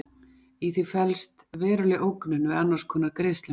í því felst veruleg ógnun við annars konar greiðslumiðlun